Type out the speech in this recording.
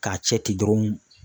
K'a cɛ ten dɔrɔn.